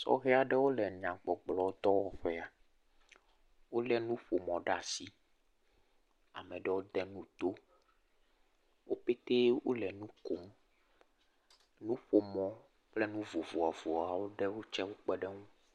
Sɔhe aɖewo le nyagbɔgblɔ dɔwɔƒea, wo lé nuƒomɔ ɖe asi, ameɖewo de nu to, wo pete wole nu kom, nuƒomɔ kple nu vovoavoawo ɖewo tsewo kpeɖe ŋu.